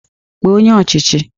Kpọọ onye ọchịchị!